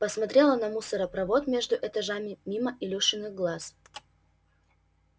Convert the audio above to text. посмотрела на мусоропровод между этажами мимо илюшиных глаз